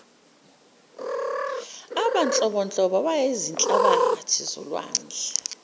abanhlobonhlobo abayizihlabathi zolwandle